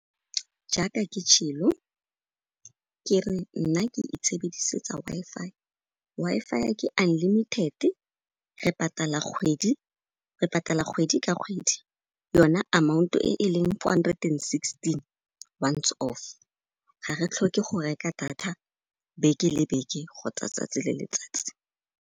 Jaaka ke , ke re nna ke itshebedisetsa W-Fi. Wi-Fi ke unlimited re patala kgwedi, re patala kgwedi di ka kgwedi, yona amount e e leng four hundred and sixteen once off, ga re tlhoke go reka data beke le beke kgotsa tsatsi le letsatsi.